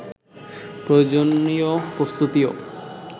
প্রয়োজনীয় প্রস্তুতিও